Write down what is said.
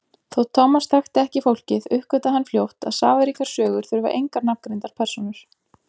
Þótt Thomas þekkti ekki fólkið uppgötvaði hann fljótt að safaríkar sögur þurfa engar nafngreindar persónur.